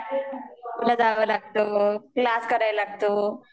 कॉलेजला जावं लागतं क्लास करायला लागतो